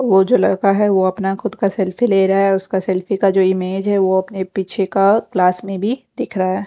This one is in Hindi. वो जो लड़का है वो अपना खुद का सेल्फी ले रहा है उसका सेल्फी का जो इमेज है वो अपने पीछे का गिलास में भी दिख रहा है।